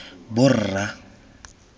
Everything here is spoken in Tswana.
borra